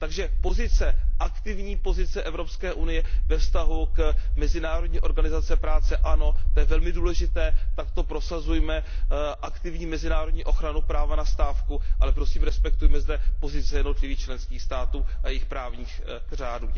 Takže pozice, aktivní pozice EU ve vztahu k Mezinárodní organizaci práce, ano, to je velmi důležité, prosazujme takto aktivní mezinárodní ochranu práva na stávku, ale prosím respektujme zde pozice jednotlivých členských států a jejich právních řádů.